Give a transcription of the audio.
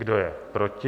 Kdo je proti?